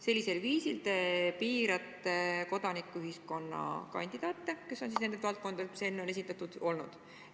" Sellisel viisil te piirate kodanikuühiskonna kandidaate ja välistate need, kes on sellistest valdkondadest, mis enne on juba esindatud olnud.